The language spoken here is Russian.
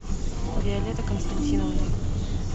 виолетта константиновна